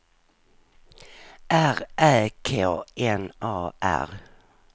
R Ä K N A R